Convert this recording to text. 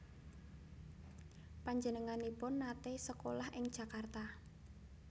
Panjenenganipun naté sekolah ing Jakarta